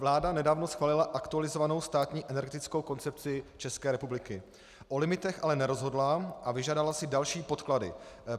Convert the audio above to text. Vláda nedávno schválila aktualizovanou Státní energetickou koncepci České republiky, o limitech ale nerozhodla a vyžádala si další podklady.